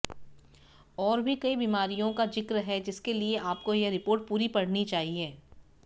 और भी कई बीमारियों का ज़िक्र है जिसके लिए आपको यह रिपोर्ट पूरी पढ़नी चाहिए